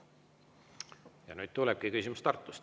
Ja nüüd tulebki küsimus Tartust.